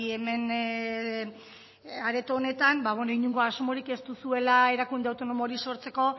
hemen areto honetan inongo asmorik ez duzuela erakunde autonomo hori sortzeko